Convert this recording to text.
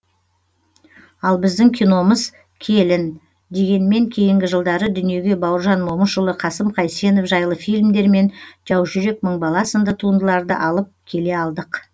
ал біздің киномыз келін дегенмен кейінгі жылдары дүниеге бауыржан момышұлы қасым қайсенов жайлы фильмдер мен жаужүрек мың бала сынды туындыларды алып келе алдық